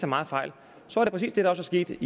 meget fejl var det præcis det der også skete